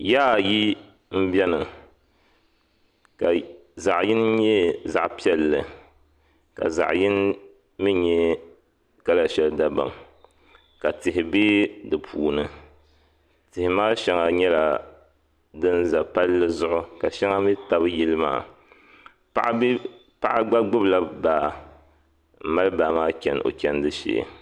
Yiya ayi n bɛni ka zaɣi yini yɛ zaɣi piɛlli ka zaɣi yini mi yɛ kala shɛli dabam ka tihi bɛ di puuni tihi maa shɛŋa yɛla din za palli zuɣu ka shɛŋa mi tabi yili maa paɣa gba gbubi la baa n mali baa maa chɛni o chɛndi shɛɛ.